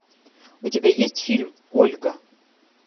у тебя есть фильм ольга